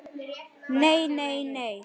Nei, nei nei.